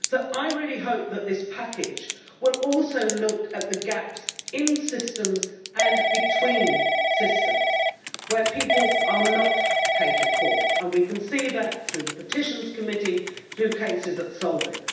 I really hope that this package will also look at the gaps in systems and between systems, where people are not catered for, and we can see that through the Committee on Petitions, through cases at Solvit.